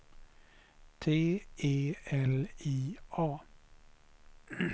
T E L I A